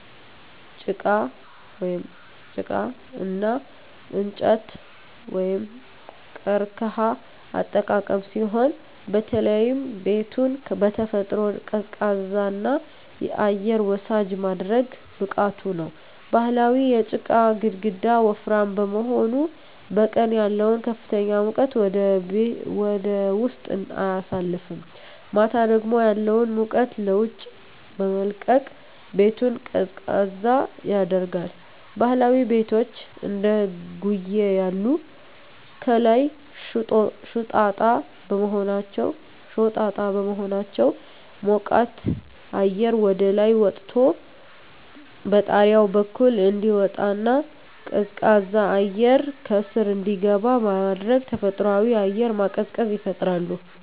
"ጪቃ (ጭቃ) እና እንጨት/ቀርከሃ አጠቃቀም ሲሆን፣ በተለይም ቤቱን በተፈጥሮ ቀዝቃዛና አየር ወሳጅ የማድረግ ብቃቱ ነው። ባህላዊው የጪቃ ግድግዳ ወፍራም በመሆኑ፣ በቀን ያለውን ከፍተኛ ሙቀት ወደ ውስጥ አያሳልፍም፣ ማታ ደግሞ ያለውን ሙቀት ለውጭ በመልቀቅ ቤቱን ቀዝቃዛ ያደርጋል። ባህላዊ ቤቶች (እንደ ጉዬ ያሉ) ከላይ ሾጣጣ በመሆናቸው፣ ሞቃት አየር ወደ ላይ ወጥቶ በጣሪያው በኩል እንዲወጣና ቀዝቃዛ አየር ከስር እንዲገባ በማድረግ ተፈጥሯዊ አየር ማቀዝቀዣ ይፈጥራሉ።